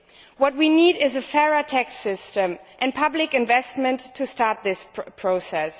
What we need is a fairer tax system and public investment to start this process.